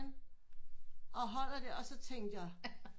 Og holder der og så tænker